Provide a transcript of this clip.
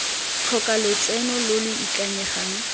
tlhoka lotseno lo lo ikanyegang